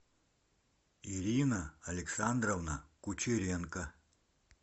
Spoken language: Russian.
ирина александровна кучеренко